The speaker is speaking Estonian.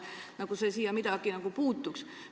Nagu see asjasse puutuks.